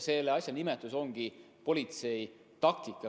Selle asja nimetus ongi politsei taktika.